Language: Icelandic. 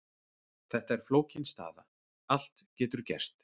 Þetta er flókin staða, allt getur gerst.